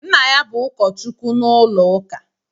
Nna ya bú ụkọchukwu n'ụlọuka